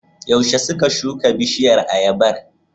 Yaushe suka shuka bishiyar ayabar?